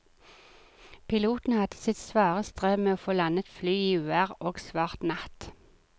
Piloten hadde sitt svare strev med å få landet flyet i uvær og svart natt.